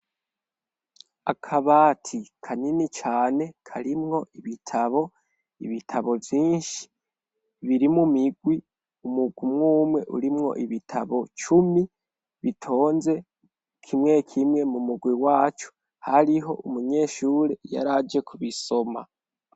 akabati kanini cane karimwo ibitabo, ibitabo vyinshi biri mu migwi umwe umwe urimwo ibitabo cumi bitonze kimwe kimwe mu mugwi wacu hariho umunyeshure yari aje kubisoma